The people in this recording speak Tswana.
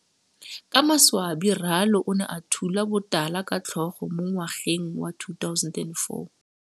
Ka maswabi Ralo o ne a thula botala ka tlhogo mo ngwageng wa 2004.